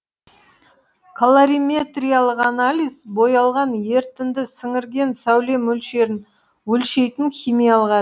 колориметриялық анализ боялған ерітінді сіңірген сәуле мөлшерін өлшейтін химиялық